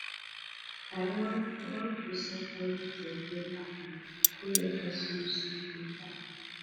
i wan i wan process everytin wey happen wey make us loose di contract